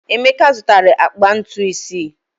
Emeka zụtara akpa ntu isii.